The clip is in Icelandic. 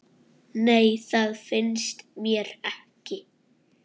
Nei, það finnst mér ekki.